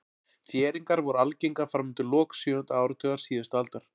Þéringar voru algengar fram undir lok sjöunda áratugar síðustu aldar.